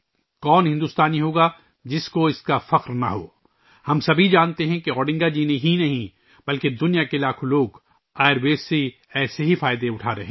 کون ایسا بھارتی ہوگا ، جسے اس پر فخر نہ ہو؟ ہم سب جانتے ہیں کہ نہ صرف اوڈنگا جی بلکہ دنیا کے لاکھوں لوگ آیوروید سے اسی طرح فائدہ اٹھا رہے ہیں